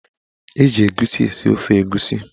Eji egusi esi ofe egusi.